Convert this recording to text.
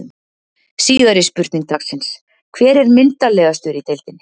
Síðari spurning dagsins: Hver er myndarlegastur í deildinni?